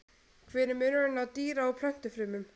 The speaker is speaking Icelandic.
Hver er munurinn á dýra- og plöntufrumum?